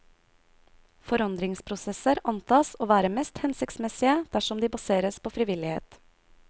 Forandringsprosesser antas å være mest hensiktsmessige dersom de baseres på frivillighet.